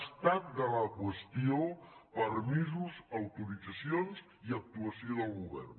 estat de la qüestió permisos autoritzacions i actuació del govern